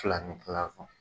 Filan ni kila kan.